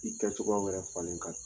I kɛ cogoyaw yɛrɛ falen ka